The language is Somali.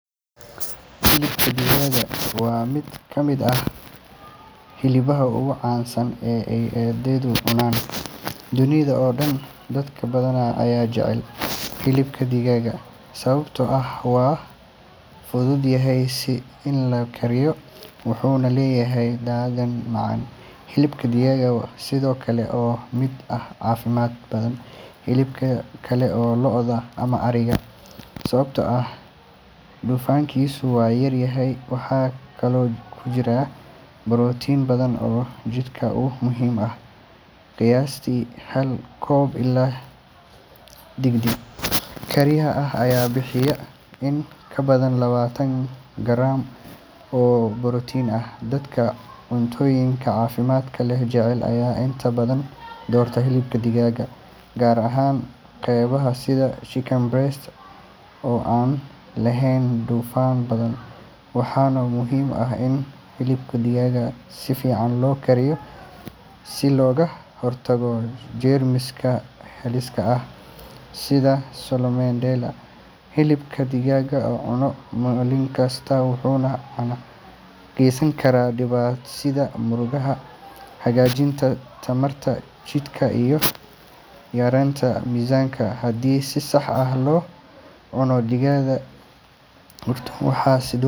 Hilibka digaaga waa mid ka mid ah hilbaha ugu caansan ee ay dadku cunaan dunida oo dhan. Dad badan ayaa jecel hilibka digaaga sababtoo ah waa fudud yahay in la kariyo, wuxuuna leeyahay dhadhan macaan. Hilibka digaagu sidoo kale waa mid ka caafimaad badan hilbaha kale sida lo’da ama ariga, sababtoo ah dufankiisu waa yar yahay. Waxaa kaloo ku jira borotiin badan oo jidhka u muhiim ah. Qiyaastii hal koob oo hilib digaag la kariyey ah ayaa bixiya in ka badan labaatan garaam oo borotiin ah. Dadka cuntooyinka caafimaadka leh jecel ayaa inta badan doorta hilib digaag, gaar ahaan qaybaha sida chicken breast oo aan lahayn dufan badan. Waxaa muhiim ah in hilibka digaaga si fiican loo kariyo si looga hortago jeermisyo halis ah sida salmonella. Hilibka digaaga la cuno maalin kasta wuxuu gacan ka geysan karaa dhisidda murqaha, hagaajinta tamarta jidhka, iyo yareynta miisaanka haddii si sax ah loo cuno. Dadka qaarkood waxay.